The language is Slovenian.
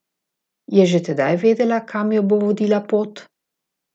Je že tedaj vedela, kam jo bo vodila pot?